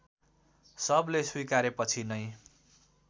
सबले स्वीकारेपछि नै